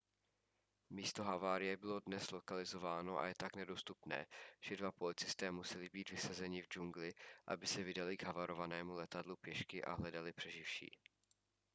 místo havárie bylo dnes lokalizováno a je tak nedostupné že dva policisté museli být vysazeni v džungli aby se vydali k havarovanému letadlu pěšky a hledali přeživší